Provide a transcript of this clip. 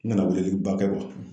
N kana weleliba kɛ